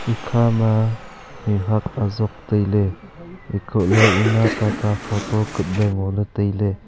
ekhama mihuat azok tai ley ekoh ley ema tata photo kap ley ngo ley